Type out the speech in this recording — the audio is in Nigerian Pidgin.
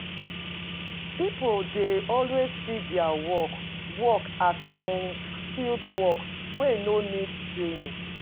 People dey always see their work work as unskilled work wey no need training